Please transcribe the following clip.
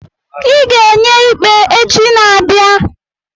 Ị ga-enye ikpe echi n'abia abịa.